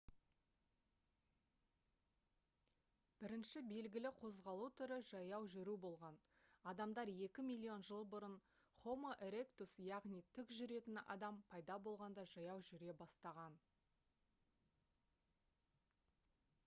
бірінші белгілі қозғалу түрі жаяу жүру болған адамдар екі миллион жыл бұрын homo erectus яғни тік жүретін адам пайда болғанда жаяу жүре бастаған